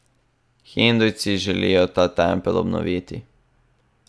Hindujci želijo ta tempelj obnoviti.